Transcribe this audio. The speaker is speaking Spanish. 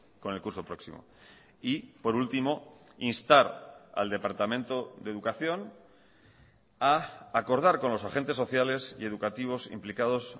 con el curso próximo y por último instar al departamento de educación a acordar con los agentes sociales y educativos implicados